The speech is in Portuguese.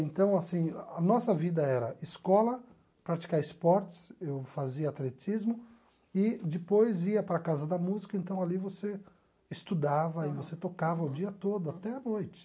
Então, assim, a nossa vida era escola, praticar esportes, eu fazia atletismo, e depois ia para a Casa da Música, então ali você estudava e você tocava o dia todo, até a noite.